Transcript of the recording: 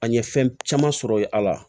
An ye fɛn caman sɔrɔ ye ala